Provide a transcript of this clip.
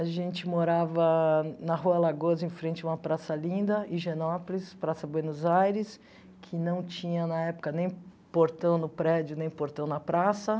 A gente morava na Rua Lagoso, em frente a uma praça linda, Higienópolis, Praça Buenos Aires, que não tinha, na época, nem portão no prédio, nem portão na praça.